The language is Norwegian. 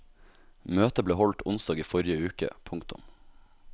Møtet ble holdt onsdag i forrige uke. punktum